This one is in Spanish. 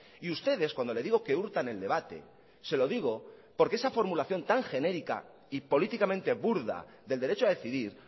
y ustedes cuando le digo que hurtan el debate se lo digo porque esa formulación tan genérica y políticamente burda del derecho a decidir